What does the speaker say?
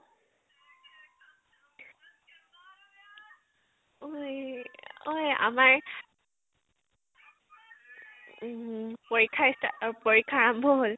ঐ ঐ আমাৰ উম পৰীক্ষা start পৰীক্ষা আৰম্ভ হʼল।